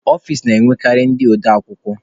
Ọfici na-enwekarị ndị ode akwukwọ.